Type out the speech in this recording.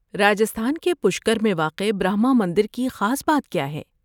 راجستھان کے پشکر میں واقع برہما مندر کی خاص بات کیا ہے؟